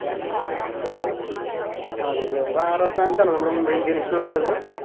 ആണ് ലെ അതാറാം സ്ഥാനത്തല്ലെ നമ്മുടെ Mumbai indians വരുന്നത്